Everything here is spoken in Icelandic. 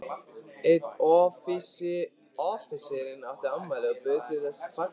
Einn offíserinn átti afmæli og bauð til þessa fagnaðar.